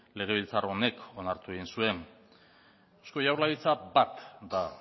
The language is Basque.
legebiltzar honek onartu egin zuen eusko jaurlaritza bat da